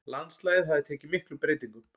Landslagið hafði tekið miklum breytingum.